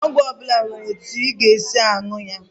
Ọgwụ ọbụla nwere etu ị ga-esi nwụọ ya